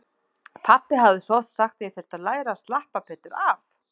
Pabbi hafði svo oft sagt að ég þyrfti að læra að slappa betur af.